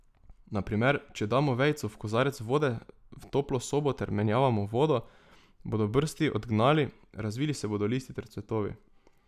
Na primer, če damo vejico v kozarec vode v toplo sobo ter menjavamo vodo, bodo brsti odgnali, razvili se bodo listi ter cvetovi.